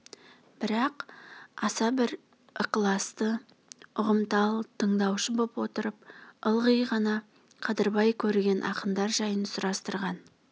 бірақ аса бір ықыласты ұғымтал тыңдаушы боп отырып ылғи ғана қадырбай көрген ақындар жайын сұрастырған